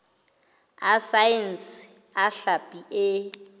a saense a hlapi e